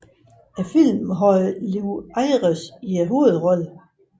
Filmen havde Lew Ayres i hovedrollen